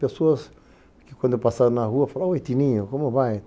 Pessoas que, quando eu passava na rua, falavam, ô, Itininho, como vai?